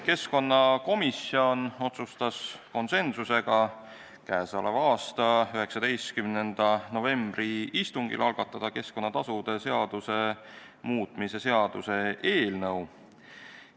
Keskkonnakomisjon otsustas k.a 19. novembri istungil konsensuslikult, et algatatakse keskkonnatasude seaduse muutmise seaduse eelnõu.